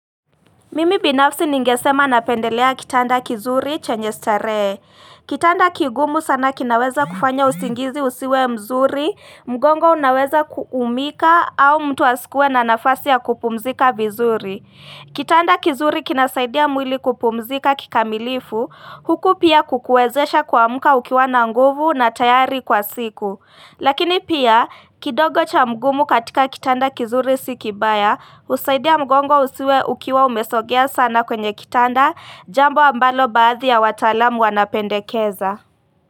Mimi binafsi ningesema napendelea kitanda kizuri chenye starehe. Kitanda kigumu sana kinaweza kufanya usingizi usiwe mzuri, mgongo unaweza kuumika au mtu asikuwe na nafasi ya kupumzika vizuri. Kitanda kizuri kinasaidia mwili kupumzika kikamilifu, huku pia kukuwezesha kuamka ukiwa na nguvu na tayari kwa siku. Lakini pia kidogo cha mgumu katika kitanda kizuri si kibaya husaidia mgongo usiwe ukiwa umesogea sana kwenye kitanda jambo ambalo baadhi ya wataalamu wanapendekeza.